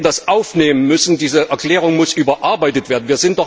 Wir hätten das aufnehmen müssen. Diese Erklärung muss überarbeitet werden.